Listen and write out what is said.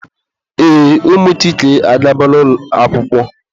Ee, ụmụ Chike agabala akwụkwọ.